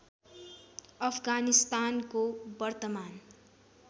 अफगानिस्तानको वर्तमान